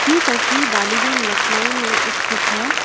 ये तस्वीर डालीगंज लखनऊ में स्थित है।